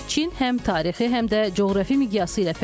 Çin həm tarixi, həm də coğrafi miqyası ilə fərqlənir.